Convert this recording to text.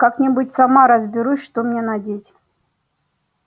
как-нибудь сама разберусь что мне надеть